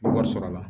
Wari sɔrɔ la